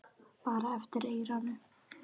Bara eftir eyranu.